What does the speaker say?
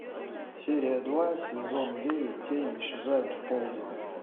серия два сезон девять тени исчезают в полдень